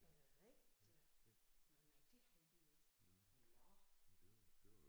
Er det rigtigt? Nåh nej det havde vi ikke nåh